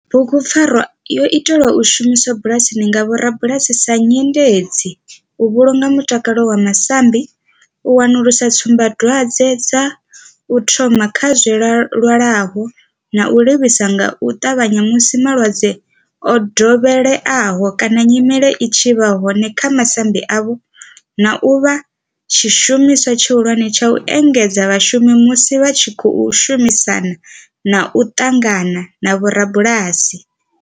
Bugupfarwa yo itelwa u shumiswa bulasini nga vhorabulasi sa nyendedzi u vhulunga mutakalo wa masambi, u wanulusa tsumbadwadzwe dza u thoma kha zwilwalaho na u livhisa nga u tavhanya musi malwadze o dovheleaho kana nyimele i tshi vha hone kha masambi avho, na u vha tshishumiswa tshihulwane tsha u engedzedza vhashumi musi vha tshi khou shumisana na u ṱangana na vhorabulasi.